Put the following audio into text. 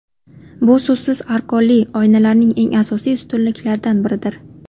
Bu so‘zsiz argonli oynalarning eng asosiy ustunliklaridan biridir.